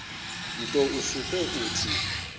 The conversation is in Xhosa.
nto usuke uthi